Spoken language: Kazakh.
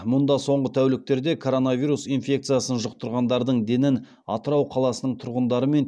мұнда соңғы тәуліктерде коронавирус инфекциясын жұқтырғандардың денін атырау қаласының тұрғындары мен